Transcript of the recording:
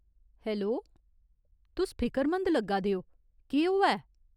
Hello, तुस फिकरमंद लग्गा दे ओ, केह् होआ ऐ?